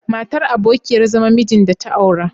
Matar abokiyar zaman mijin da ta aura..